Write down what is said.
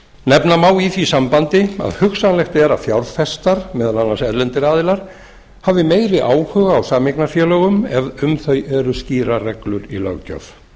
nefna má í því sambandi að hugsanlegt er að fjárfestar meðal annars erlendir aðilar hafi meiri áhuga á sameignarfélögum ef um þau eru skýrar reglur í löggjöf